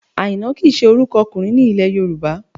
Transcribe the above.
Àìná kì í ṣe orúkọ ọkùnrin ní ilẹ̀ Yorùbá